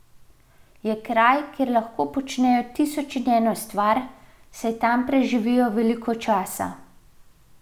Je kraj, kjer lahko počnejo tisoč in eno stvar, saj tam preživijo veliko časa.